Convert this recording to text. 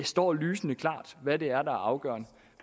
står lysende klart hvad det er der er afgørende